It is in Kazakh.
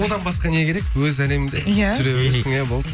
одан басқа не керек өз әлеміңде ия жүре бересің ия болды